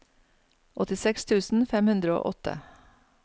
åttiseks tusen fem hundre og åtte